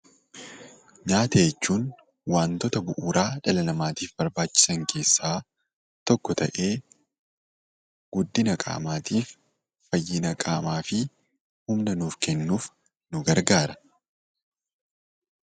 Nyaata jechuun waantota bu'uuraa dhala namaatiif barbaachisan keessaa tokko ta'ee guddina qaamaatiif, fayyina qaamaa fi humna nuuf kennuuf nu gargaara.